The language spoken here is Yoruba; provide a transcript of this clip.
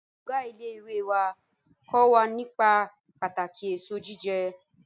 Ọ̀gá ilé ìwé wá kó wa nípa pàtàkì èso jíjẹ